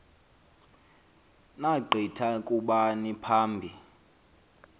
naggitha kubani phambi